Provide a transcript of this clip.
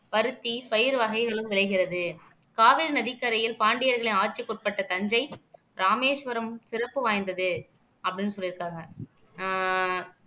பருத்தி பருத்தி பயிர் வகைகளும் விளைகிறது காவிரி நதிக்கரையில் பாண்டியர்களின் ஆட்சிக்கு உட்பட்ட தஞ்சை, ராமேஸ்வரம் சிறப்பு வாய்ந்தது அப்படின்னு சொல்லி இருக்காங்க ஆஹ்